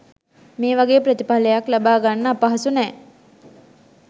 මේවගේ ප්‍රතිඵලයක් ලබාගන්න අපහසු නැහැ.